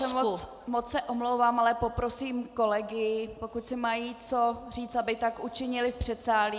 Paní kolegyně, moc se omlouvám, ale poprosím kolegy, pokud si mají co říct, aby tak učinili v předsálí.